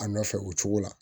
A nɔfɛ o cogo la